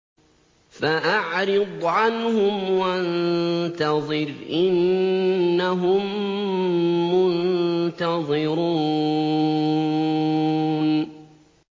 فَأَعْرِضْ عَنْهُمْ وَانتَظِرْ إِنَّهُم مُّنتَظِرُونَ